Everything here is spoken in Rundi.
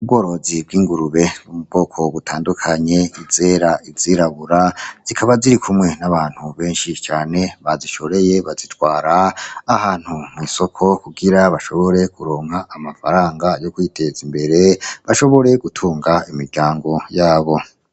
Ubworozi bw'ingurube mu ubwoko butandukanye, zera, izirabura. Zikaba zirikumwe n'abantu benshi cane bazishoreye bazitwara ahantu mw'isoko kugira bashobore kuronka amafaranga yo kwiteza imbere, bashobore gutunga imiryango yabo.